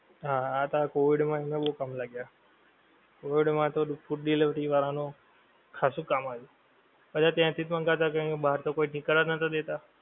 હા આ તા covid માં બહુ કમ લાગીયા covid માં તો food delivery વાળા નો ખાશું કામ આયું પાછા ત્યાં થી પણ ભાર તો કોઈ નીકળવાજ નથી દેતા